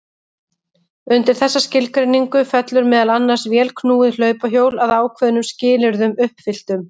Undir þessa skilgreiningu fellur meðal annars vélknúið hlaupahjól að ákveðnum skilyrðum uppfylltum.